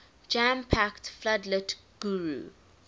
jam packed floodlit guru